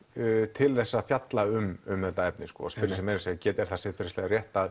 til þess að fjalla um þetta efni meira að segja er það siðferðislega rétt að